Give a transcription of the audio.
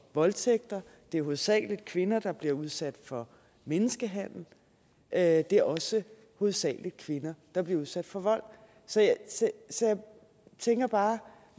voldtægt at det hovedsagelig er kvinder der bliver udsat for menneskehandel og at det også hovedsagelig er kvinder der bliver udsat for vold så jeg tænker bare